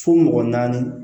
Fo mɔgɔ naani